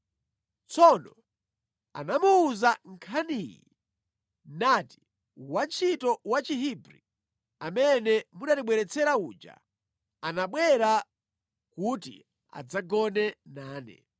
Tsono anamuwuza nkhaniyi nati: “Wantchito Wachihebri amene munatibweretsera uja anabwera kuti adzagone nane.